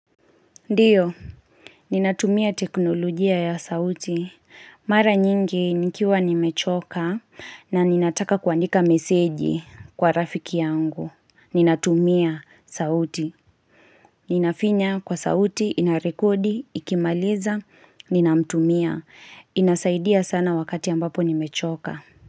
Ndiyo, ninatumia teknolojia ya sauti. Mara nyingi nikiwa nimechoka na ninataka kuandika meseji kwa rafiki yangu. Ninatumia sauti. Ninafinya kwa sauti, inarekodi, ikimaliza, ninamtumia. Inasaidia sana wakati ambapo nimechoka.